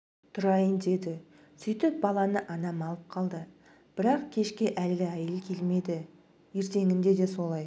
тұрайын деді сөйтіп баланы анам алып қалды бірақ кешке әлгі әйел келмеді ертеңінде де солай